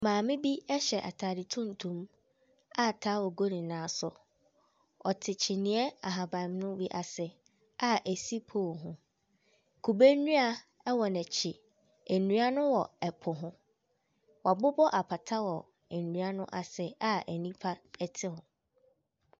Maame bi hyɛ atade tuntuma towel gu ne nan so. Ɔte kyiniiɛ ahabammono bi ase a ɛsi pole ho. Kube nnua wɔ n'akyi. Nnuano wɔ ɛpo ho. Wɔabobɔ apata wɔ nnua no ase a nnipa te hɔ.